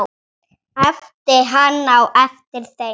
æpti hann á eftir þeim.